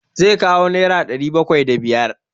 Zai kawo nera ɗari bakwai da biyar.